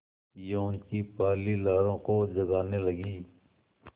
यौवन की पहली लहरों को जगाने लगी